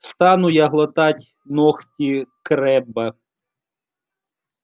стану я глотать ногти крэбба